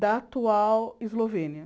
Da atual Eslovênia.